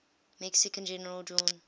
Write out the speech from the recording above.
mexican general juan